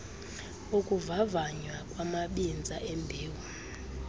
ukuvavanywa kwamabinza embewu